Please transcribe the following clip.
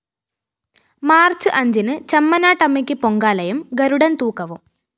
March അഞ്ചിന് ചമ്മനാട്ടമ്മയ്ക്ക് പൊങ്കാലയും ഗരുഡന്‍തൂക്കവും